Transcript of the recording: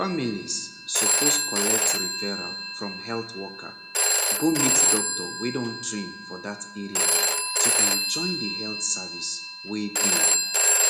families suppose collect referral from health worker go meet doctor wey don train for that area to enjoy the health service wey dey